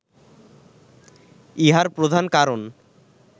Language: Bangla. ইহার প্রধান কারণ